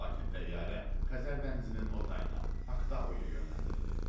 Lakin təyyarə Xəzər dənizinin o tayına, Aktauya yönəldilir.